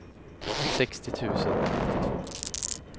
sextio tusen nittiotvå